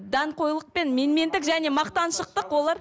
даңғойлық пен менмендік және мақтаншақтық олар